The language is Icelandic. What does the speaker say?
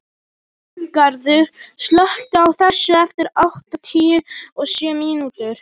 Arngarður, slökktu á þessu eftir áttatíu og sjö mínútur.